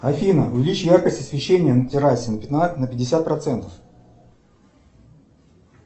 афина увеличь яркость освещения на террасе на пятьдесят процентов